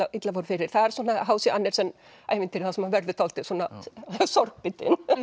illa fór fyrir það er h c Andersen ævintýri þar sem maður verður dálítið